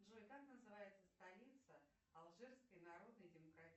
джой как называется столица алжирской народной демократической